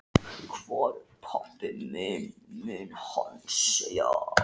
Hvar er pabbi minn? mun hann segja.